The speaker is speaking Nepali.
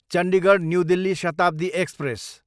Chandigarh, New Delhi Shatabdi express